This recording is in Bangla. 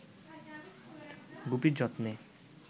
গুপির যত্নে